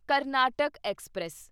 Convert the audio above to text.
Karnataka express